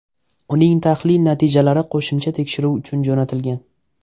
Uning tahlil natijalari qo‘shimcha tekshiruv uchun jo‘natilgan.